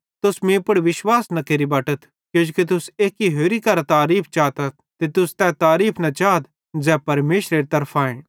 तुस मीं पुड़ विश्वास न केरि बटथ किजोकि तुस एक्की होरि करां तारीफ़ चातथ ते तुस तै तारीफ़ न चाथ ज़ै सिर्फ परमेशरेरे तरफांए